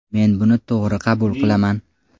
Men buni to‘g‘ri qabul qilaman.